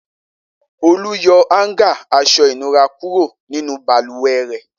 Olú yọ háńgà aṣọ-ìnura kúrò nínú balùwẹ̀ rẹ̀.